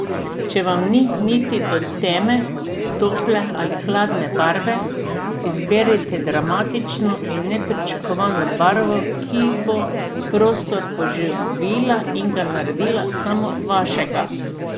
Če vam ni niti do temne, tople ali hladne barve, izberite dramatično in nepričakovano barvo, ki bo prostor poživila in ga naredila samo vašega!